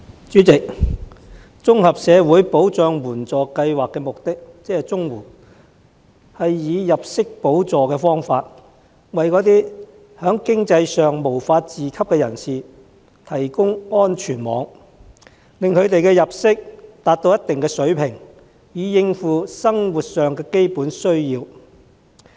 主席，綜合社會保障援助計劃的目的，是以入息補助方式，為在經濟上無法自給的人士提供安全網，使他們的入息達到一定水平，以應付生活上的基本需要。